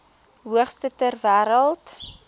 hoogste ter wêreld